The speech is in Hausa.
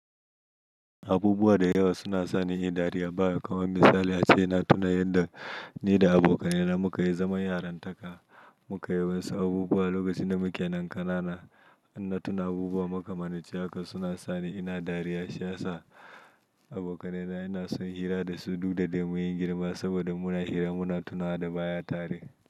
Abubuwa da yawa suna sani inyi dariya baya. Kamar misali a ce ina tuna yadda ni da abokanai na muka yi zaman yaran taka. Muka yi wasu abubuwa lokacin da muke nan ƙanana. In na tuna abubuwa muka yi maka suna sani ina dariya. Shiyasa abokanai na inason hira da su duk da dai muyi girma saboda muna hira muna tuna da baya tare.